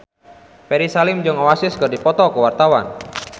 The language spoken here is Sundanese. Ferry Salim jeung Oasis keur dipoto ku wartawan